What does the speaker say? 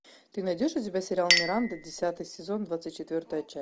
ты найдешь у себя сериал миранда десятый сезон двадцать четвертая часть